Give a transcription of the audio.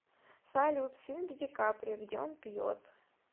салют фильм с дикаприо где он пьет